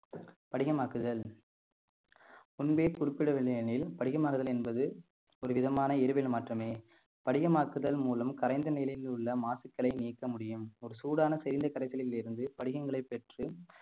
படிகமாக்குதல் முன்பே குறிப்பிடவில்லை எனில் படிக மாறுதல் என்பது ஒருவிதமான இயற்பியல் மாற்றமே படியமாக்குதல் மூலம் கரைந்த நிலையில் உள்ள மாசுக்களை நீக்க முடியும் ஒரு சூடான கரைசேலில் இருந்து படிகங்களைப் பெற்று